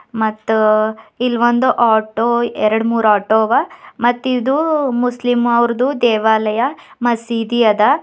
ಮತ್ತು ಇಲ್ಲೊಂದು ಆಟೋ ದೇವಾಲಯ ಎರಡು ಮೂರು ಆಟೋ ಅವಾ ಮತ್ತಿದು ಮುಸ್ಲಿಮ್ ಅವರದು ದೇವಾಲಯ ಮಸೀದಿ ಅದ.